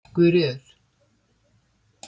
Guðríður